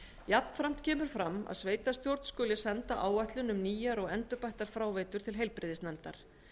jafnframt kemur fram að sveitarstjórn skuli senda áætlun um nýjar og endurbættar fráveitur til heilbrigðisnefndar